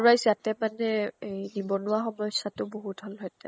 wise ইয়াতে মানে হেই নিবনুৱা সমস্য়া টো বহুত হল হেতেন।